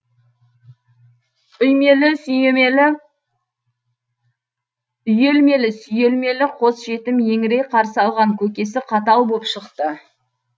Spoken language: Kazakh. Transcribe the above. үйелмелі сүйелмелі қос жетім еңірей қарсы алған көкесі қатал боп шықты